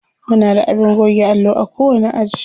Muna da abin goge allo a kowani aji.